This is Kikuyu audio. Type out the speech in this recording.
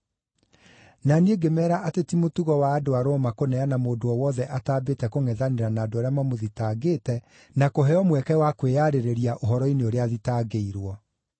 “Na niĩ ngĩmeera atĩ ti mũtugo wa andũ a Roma kũneana mũndũ o wothe ataambĩte kũngʼethanĩra na andũ arĩa mamũthitangĩte na kũheo mweke wa kwĩyarĩrĩria ũhoro-inĩ ũrĩa athitangĩirwo.